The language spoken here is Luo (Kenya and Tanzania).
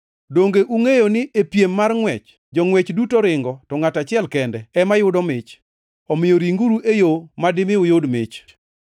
Donge ungʼeyo ni e piem mar ngʼwech jongʼwech, duto ringo, to ngʼato achiel kende ema yudo mich? Omiyo ringuru e yo madimi uyud mich.